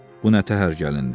Bu nə təhər gəlindi?